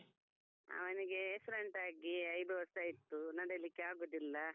ಅವನಿಗೆ accident ಆಗಿ ಐದು ವರ್ಷ ಆಯಿತು ನಡಿಲಿಕ್ಕೆ ಆಗುದಿಲ್ಲ.